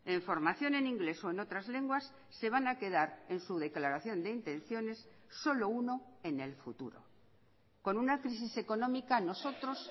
en formación en inglés o en otras lenguas se van a quedar en su declaración de intenciones solo uno en el futuro con una crisis económica nosotros